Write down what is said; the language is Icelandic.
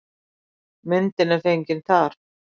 Myndin er fengin þar.